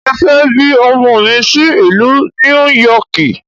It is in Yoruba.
Mo fẹ́ bí ọmọ mi sí ìlú Níú Yọkìì.